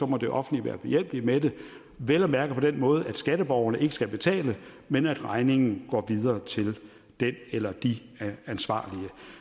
må det offentlige være behjælpelig med det vel at mærke på den måde at skatteborgerne ikke skal betale men at regningen går videre til den eller de ansvarlige